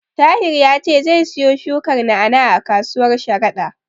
Tahir ya ce zai siyo shukar na'a-na'a a kasuwar Sharada.